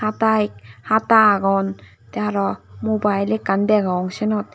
hata agon te aro mobile ekkan degong senot.